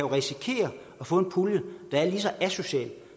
risikere at få en pulje der er lige så asocial